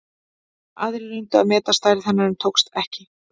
Aðrir reyndu að meta stærð hennar en tókst ekki.